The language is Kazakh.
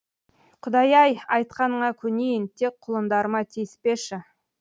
құдай ай айтқаныңа көнейін тек құлындарыма тиіспеші